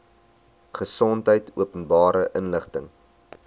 gesondheid openbare inligting